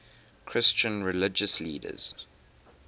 christian religious leaders